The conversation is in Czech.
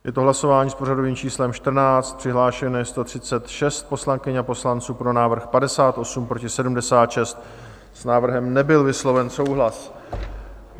Je to hlasování s pořadovým číslem 14, přihlášeno je 136 poslankyň a poslanců, pro návrh 58, proti 76, s návrhem nebyl vysloven souhlas.